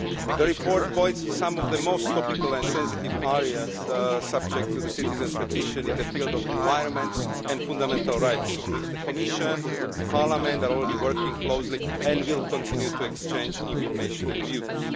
The report points to some of the most topical and sensitive areas subject to the citizens' petition in the field of environment and fundamental rights, on which the Commission and Parliament are already working closely and will continue to exchange information and views.